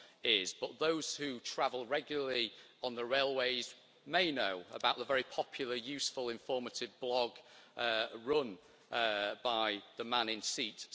is, but those who travel regularly on the railways may know about the very popular, useful and informative blog run by the Man in Seat